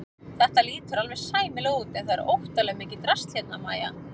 Þetta lítur alveg sæmilega út en það er óttalega mikið drasl hérna MÆJA!